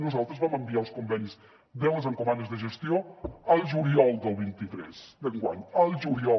nosaltres vam enviar els convenis de les encomandes de gestió al juliol del vint tres d’enguany al juliol